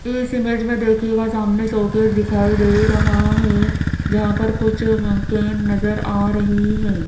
इस इमेज में देखिएगा सामने शो केस दिखाई दे रहा है जहां पर कुछ केन नजर आ रही है।